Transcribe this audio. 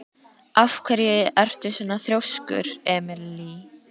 Af hverju ertu svona þrjóskur, Emely?